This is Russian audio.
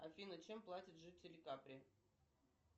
афина чем платят жители капри